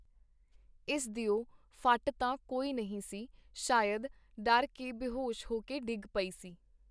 ਇਸ ਦਿਓ ਫੱਟ ਤਾਂ ਕੋਈ ਨਹੀਂ ਸੀ ਸ਼ਾਇਦ ਡਰ ਕੇ ਬੇਹੋਸ਼ ਹੋ ਕੇ ਡਿੱਗ ਪਈ ਸੀ.